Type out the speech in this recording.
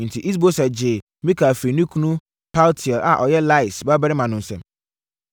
Enti, Is-Boset gyee Mikal firii ne kunu Paltiel a ɔyɛ Lais babarima no nsam.